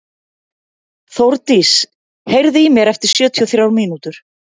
Þórdís, heyrðu í mér eftir sjötíu og þrjár mínútur.